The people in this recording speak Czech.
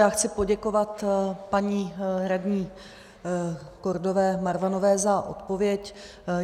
Já chci poděkovat paní radní Kordové Marvanové za odpověď.